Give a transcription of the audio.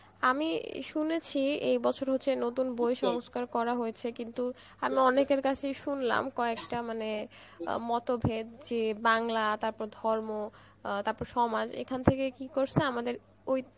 আমি শুনেছি এই বছর হচ্ছে নতুন বই সংস্কর করা হয়েছে কিন্তু, আমি অনেকের কাছেই শুনলাম কয়েকটা মানে মতভেদ জি বাংলা তারপর ধর্ম অ্যাঁ তারপর সমাজ এখান থেকে কি করছে আমাদের ওই